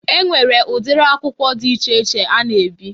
E nwere ụdiri akwụkwọ dị iche iche a na-ebi.